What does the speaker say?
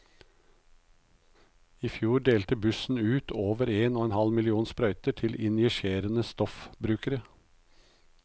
I fjor delte bussen ut over én og en halv million sprøyter til injiserende stoffbrukere.